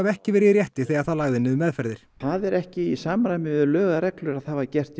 ekki verið í rétti þegar það lagði niður meðferðir það var ekki í samræmi við lög og reglur að það var gert